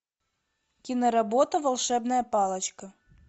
киноработа волшебная палочка